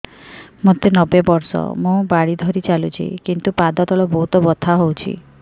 ମୋତେ ନବେ ବର୍ଷ ମୁ ବାଡ଼ି ଧରି ଚାଲୁଚି କିନ୍ତୁ ପାଦ ତଳ ବହୁତ ବଥା ହଉଛି